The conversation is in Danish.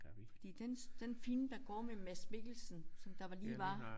Fordi dens den film der går med Mads Mikkelsen som der var lige var